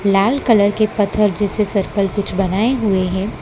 लाल colour के पत्थर जैसे सर्कल कुछ बनाए हुए है।